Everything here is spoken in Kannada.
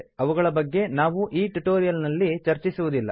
ಅವುಗಳ ಬಗ್ಗೆ ನಾವು ಈ ಟ್ಯುಟೋರಿಯಲ್ ನಲ್ಲಿ ಚರ್ಚಿಸುವುದಿಲ್ಲ